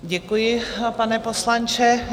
Děkuji, pane poslanče.